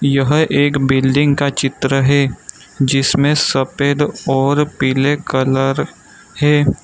यह एक बिल्डिंग का चित्र है जिसमें सफेद और पीले कलर है।